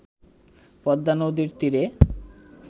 পদ্মা নদীর তীরে